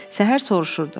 Səhər soruşurdu.